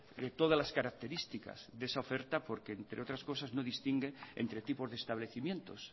que todas las características de esa oferta porque entre otras cosas no distingue entre tipos de establecimientos